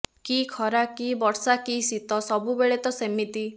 କି ଖରା କି ବର୍ଷ କି ଶୀତ ସବୁବେଳେ ତ ସେମିତି